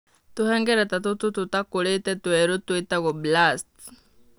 Tũhengereta tũtũ tũtakũrĩte twerũ tũĩtagwo blasts.